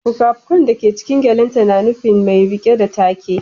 Fuka-fukan da ke cikin gyalenta na nufin mai rike da take